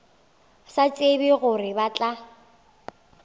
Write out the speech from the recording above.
sa tsebe gore ba tla